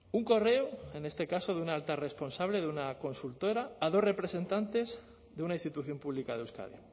un correo en este caso de una alta responsable de una consultora a dos representantes de una institución pública de euskadi